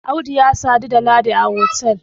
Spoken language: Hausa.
Audu ya sadu da Ladi a otal